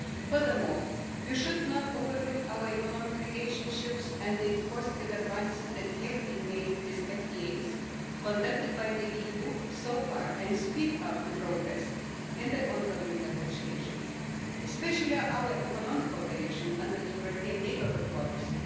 Furthermore, one should not overlook our economic relationships and the positive advances that have been made with FTAs conducted by the EU so far, and should speed up progress in the ongoing negotiations, especially our economic cooperation under the European Neighbourhood policy.